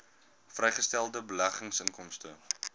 vrygestelde beleggingsinkomste